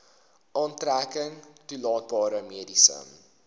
aftrekking toelaatbare mediese